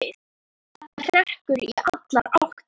Þetta hrekkur í allar áttir.